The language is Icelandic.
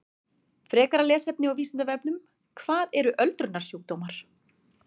Frekara lesefni á Vísindavefnum: Hvað eru öldrunarsjúkdómar?